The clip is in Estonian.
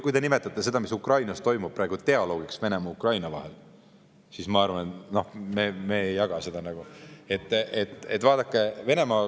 Te nimetate seda, mis Ukrainas toimub praegu, dialoogiks Venemaa ja Ukraina vahel, aga meie ei jaga seda.